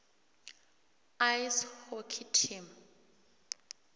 ice hockey team